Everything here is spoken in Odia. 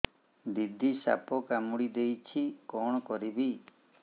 ଦିଦି ସାପ କାମୁଡି ଦେଇଛି କଣ କରିବି